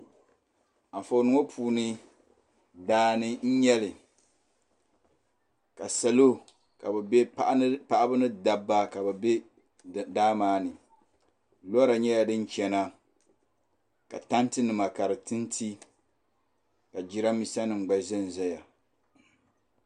Anfooni ŋɔ puuni daani n yɛli ka salo paɣiba ni dabba ka bi bɛ daa maa ni bɔra yɛla din chiɛna ka tanti nima ka di ti nti ka jiranbesa nim gba za nzaya.